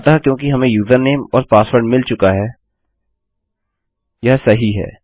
अतः क्योंकि हमें यूजरनेम और पासवर्ड मिल चुका है यह सही है